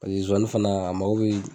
zozani fana a mago bɛ